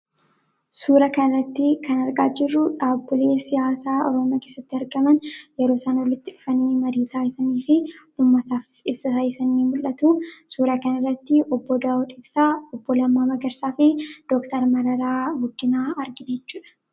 Suura kana irratti kan argaa jirru dhabbilee siyaasaa Oromoo keessatti argaman yeroo isaan walitti dhufanii marii taa'isanii fi ummataaf ibsa taasisan mul'atu. Suura kana irratti obboo daawud ibsaa, obboo lammaa magarsaa fi dooktar mararaa guddinaa argina jechuudha.